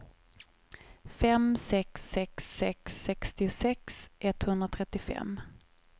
fem sex sex sex sextiosex etthundratrettiofem